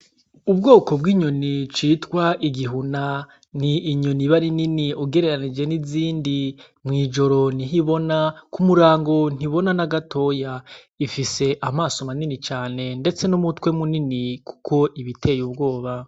Ubwoko bw'inyoni citwa igihuna, n'inyoni iba ari nini ugereranije n’izindi mw'ijoro niho ibona k'umurongo ntibona nagatoya, ifise amaso manini cane ndetse n'umutwe munini kuko ibiteye ubwoba.